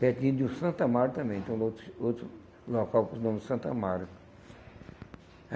Pertinho de um Santo Amaro também, então outro outro local chamado Santo Amaro.